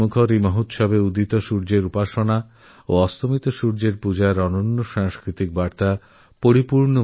আস্থার এই মহাপর্বে উদীয়মান সূর্যের উপাসনা আর ডুবন্তসূর্যের পূজার বার্তা অদ্বিতীয় সংস্কারে পরিপূর্ণ